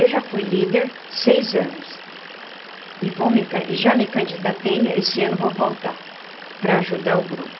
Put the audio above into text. Eu já fui líder seis anos e vou me can e já me candidatei, esse ano vou voltar para ajudar o grupo.